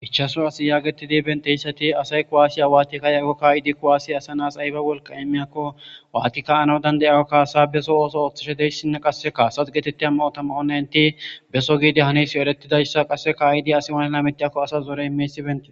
5 asse yagetud betiyaysat asay kuwasiya watid ka'iyako , ka'etid kuwasey asa nas ayba wolqa imiyako , wat ka'anaw danda'iyakko kasa beso oos othishe diyaysinne qase kasas getitiya mayota mayid beso ,...